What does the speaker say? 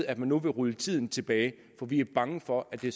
at man nu vil rulle tiden tilbage for vi er bange for at det